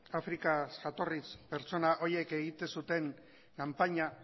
afrikar jatorriz pertsona horiek egiten zuten kanpaina